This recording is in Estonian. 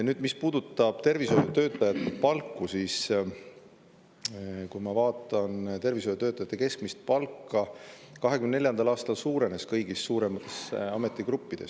Nüüd, mis puudutab tervishoiutöötajate palku, siis tervishoiutöötajate keskmine palk 2024. aastal kasvas kõigis suuremates ametigruppides.